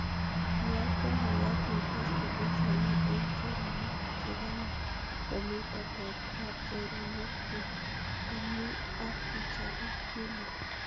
Iyatkten ng'olyot en facebook en samet en choronok cheganye komi tetet ab choronokyuk konyi ak ichabe nelel